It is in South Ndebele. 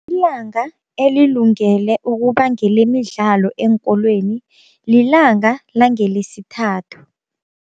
Ilanga elilungele ukuba ngelemidlalo eenkolweni lilanga langeLesithathu.